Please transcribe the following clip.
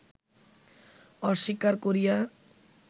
অস্বীকার করিয়া